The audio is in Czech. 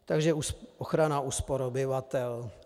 Takže ochrana úspor obyvatel.